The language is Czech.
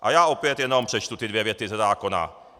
A já opět jenom přečtu ty dvě věty ze zákona.